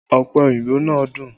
Ọpẹ oyinbo náà dùn